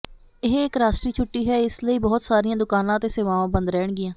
ਇਹ ਇੱਕ ਰਾਸ਼ਟਰੀ ਛੁੱਟੀ ਹੈ ਇਸ ਲਈ ਬਹੁਤ ਸਾਰੀਆਂ ਦੁਕਾਨਾਂ ਅਤੇ ਸੇਵਾਵਾਂ ਬੰਦ ਰਹਿਣਗੀਆਂ